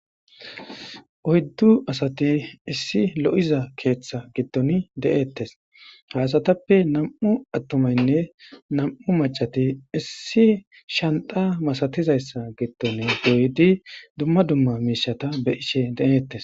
oyddu asati issi lo7iza keeththa gidton de7ettes hasatappe nam7u attomaynne nam7u macati issi shanta masatizayssa gidton guydi dumma dumma miishata be ishe de7eettes